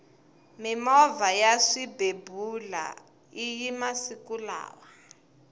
mimovha ya swibebula iya masiku lawa